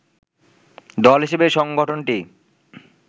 দল হিসেবে সংগঠনটি